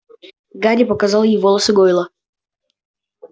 гарри показал ей волосы гойла